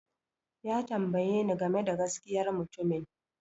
Ya tambaye ni game da gaskiyar mutumin